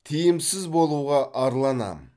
тиімсіз болуға арланам